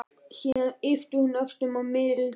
Síðan ypptir hún öxlum og mildast.